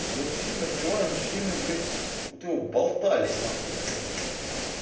я его все время открываю оно все время блять как будто его болтали нахуй блять